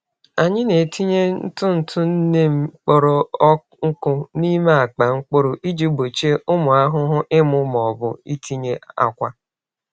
Anyị na-etinye ntụ ntụ neem kpọrọ nkụ n’ime akpa mkpụrụ iji gbochie ụmụ ahụhụ ịmụ ma ọ bụ itinye akwa.